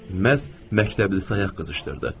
Məhz məktəbli sayaq qızışdırdı.